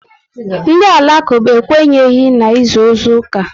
Ndị Alakuba ekwenyi n'isu ozu oku